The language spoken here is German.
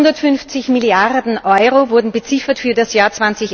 150 Milliarden Euro wurden beziffert für das Jahr